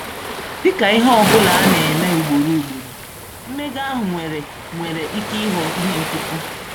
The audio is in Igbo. Dị ka ihe ọ bụla a na-eme ugboro ugboro, mmega ahụ nwere nwere ike ịghọ ihe nkịtị.